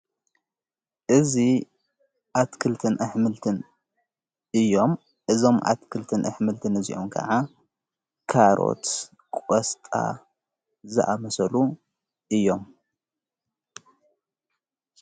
እዙ ኣትክልትን ኣሕምልትን እዮም። እዞም ኣትክልትን ኣሕምልቲን እዚኡም ከዓ ካሮት ፣ቖስጣ ዝኣመሰሉ እዮም።